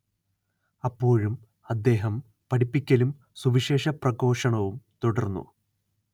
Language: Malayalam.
അപ്പോഴും അദ്ദേഹം പഠിപ്പിക്കലും സുവിശേഷ പ്രഘോഷണവും തുടർന്നു